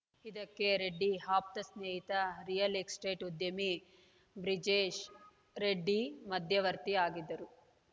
ಇದಕ್ಕೆ ರೆಡ್ಡಿ ಆಪ್ತ ಸ್ನೇಹಿತ ರಿಯಲ್‌ ಎಸ್ಟೇಟ್‌ ಉದ್ಯಮಿ ಬ್ರಿಜೇಶ್‌ ರೆಡ್ಡಿ ಮಧ್ಯವರ್ತಿ ಆಗಿದ್ದರು